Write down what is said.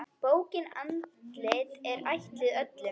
Bókin Andlit er ætluð öllum.